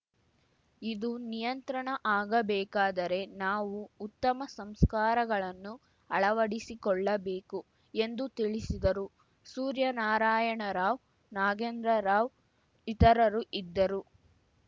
ಇದು ನಿಯಂತ್ರಣ ಆಗಬೇಕಾದರೆ ನಾವು ಉತ್ತಮ ಸಂಸ್ಕಾರಗಳನ್ನು ಅಳವಡಿಸಿಕೊಳ್ಳಬೇಕು ಎಂದು ತಿಳಿಸಿದರು ಸೂರ್ಯನಾರಾಯಣ ರಾವ್‌ ನಾಗೇಂದ್ರರಾವ್‌ ಇತರರು ಇದ್ದರು